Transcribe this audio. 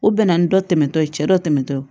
U bɛ na ni dɔ tɛmɛntɔ ye cɛ dɔ tɛmɛntɔ